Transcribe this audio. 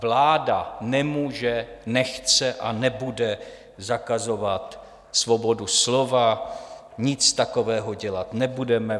Vláda nemůže, nechce a nebude zakazovat svobodu slova, nic takového dělat nebudeme.